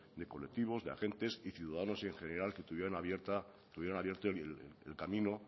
de colectivos de agentes y ciudadanos en general que tuvieran abierto el camino